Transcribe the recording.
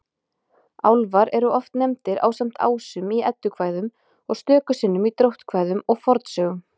Álfar eru oft nefndir ásamt ásum í Eddukvæðum og stöku sinnum í dróttkvæðum og fornsögum.